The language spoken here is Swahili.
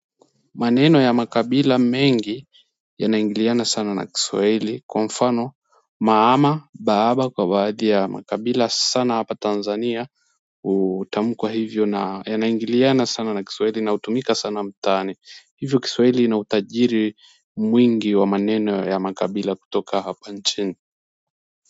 Maneno ya makabila mengi yanaingiliana sana na kiswahili kwa mfano maama baaba kwa baadhi ya makabila sana hapa Tanzania hutamkwa hivyo na yanaingiliana sana na kiswahili inaotumika sana mtaani hivyo kiswahili ina utajiri mwingi wa maneno ya makabila kutoka hapa nchini.